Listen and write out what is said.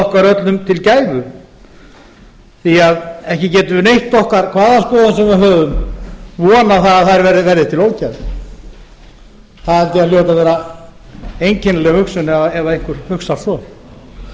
auðvitað okkur til gæfu því ekki getur neitt okkar hvaða skoðun sem við höfum vonað að þær verði til ógæfu það held ég að hljóti að vera einkennileg hugsun ef einhver hugsar